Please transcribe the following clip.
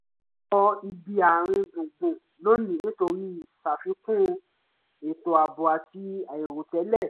a kọ ibi àárín gbùngbùn lónìí nítorí ìṣàfikún étò ààbò àti àìròtẹ́lẹ̀